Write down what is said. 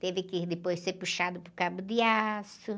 Teve que depois ser puxado por cabo de aço.